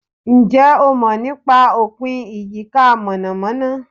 Ǹjẹ́ o mọ̀ nípa Opin Iyika monamona?